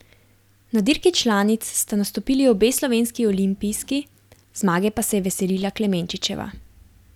Na dirki članic sta nastopili obe slovenski olimpijski, zmage pa se je veselila Klemenčičeva.